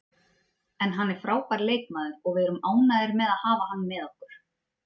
En hann er frábær leikmaður og við erum ánægðir með að hafa hann með okkur.